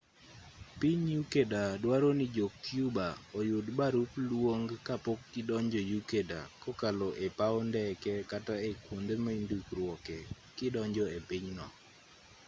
piny ecuador dwaro ni jo-cuba oyud barup luong kapok gidonjo ecuador kokalo e paw ndeke kata e kuonde mindikruoke kidonjo e piny no